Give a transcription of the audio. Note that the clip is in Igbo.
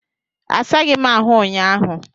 Asaghị m ahụ ụnyaahụ.